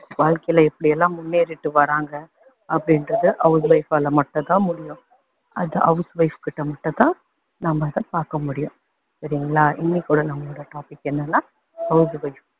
வாழ்க்கையில எப்படியெல்லாம் முன்னேறிட்டு வர்றாங்க அப்படின்றது house wife ஆல மட்டும் தான் முடியும், அது house wife கிட்ட மட்டும் தான் நம்ம அதை பாக்க முடியும், சரிங்களா. இன்னைக்கோட நம்மளோட topic என்னன்னா house wife